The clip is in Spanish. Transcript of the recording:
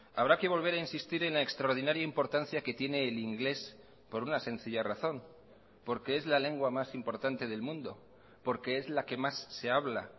habrá que volver a insistir en la extraordinaria importancia que tiene el inglés por una sencilla razón porque es la lengua más importante del mundo porque es la que más se habla